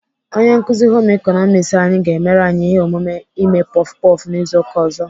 Onye nkuzi Home ịkọnọmiks anyị ga-emere anyị ihe omume ime puff puff n'izu ụka ọzọ.